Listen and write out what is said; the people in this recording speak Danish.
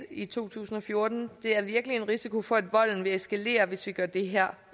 i 2014 der er virkelig en risiko for at volden vil eskalere hvis vi gør det her